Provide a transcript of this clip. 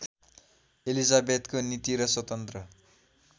एलिजाबेथको नीति र स्वतन्त्र